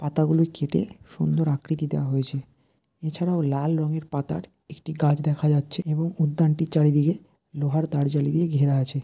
পাতাগুলি কেটে সুন্দর আকৃতি দেওয়া হয়েছে এছাড়াও লাল রঙের পাতার একটি গাছ দেখা যাচ্ছে এবং উদ্যানটির চারিদিকে লোহার তারজালি দিয়ে ঘেরা আছে।